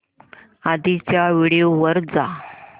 आधीच्या व्हिडिओ वर जा